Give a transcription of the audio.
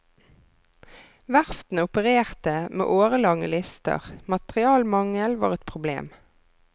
Verftene opererte med årelange lister, materialmangel var et problem.